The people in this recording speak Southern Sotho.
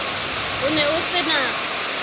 o ne o se na